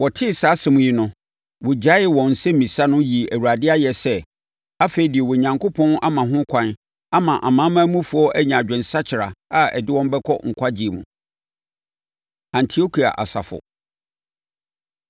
Wɔtee saa asɛm yi no, wɔgyaee wɔn nsɛmmisa no yii Awurade ayɛ sɛ, “Afei, deɛ Onyankopɔn ama ho kwan ama amanamanmufoɔ anya adwensakyera a ɛde wɔn bɛkɔ nkwagyeɛ mu.” Antiokia Asafo